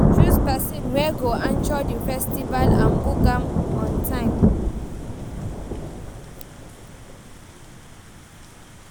Choose persin wey go anchor di festival and book am on time